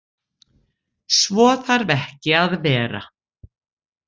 Svo þarf ekki að vera.